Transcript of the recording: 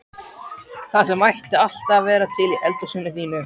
Það sem ætti alltaf að vera til í eldhúsinu þínu!